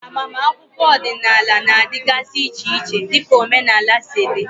Agbamakwụkwọ ọdịnala na-adịgasị iche dịka omenala si dị.